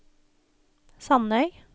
Sandøy